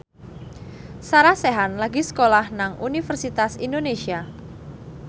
Sarah Sechan lagi sekolah nang Universitas Indonesia